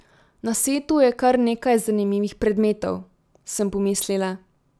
Na setu je kar nekaj zanimivih predmetov, sem pomislila.